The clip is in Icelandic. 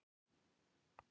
Þér myndi ekki líka það.